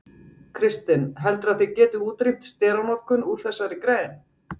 Kristinn: Heldurðu að þið getið útrýmt steranotkun úr þessari grein?